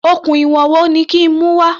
Okùn ìwọ̀n wo ni kí n mú wá?